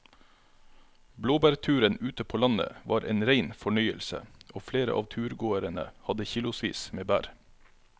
Blåbærturen ute på landet var en rein fornøyelse og flere av turgåerene hadde kilosvis med bær.